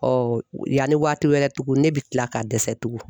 yanni waati wɛrɛ tugun ne bɛ tila ka dɛsɛ tugun.